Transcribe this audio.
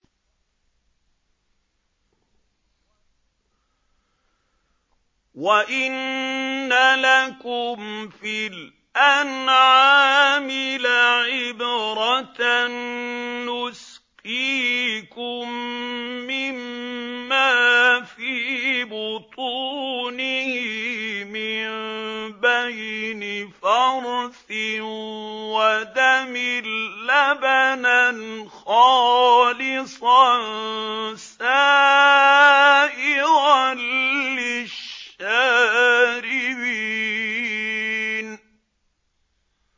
وَإِنَّ لَكُمْ فِي الْأَنْعَامِ لَعِبْرَةً ۖ نُّسْقِيكُم مِّمَّا فِي بُطُونِهِ مِن بَيْنِ فَرْثٍ وَدَمٍ لَّبَنًا خَالِصًا سَائِغًا لِّلشَّارِبِينَ